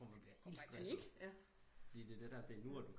Når man bliver helt stresset fordi det er det der det er nu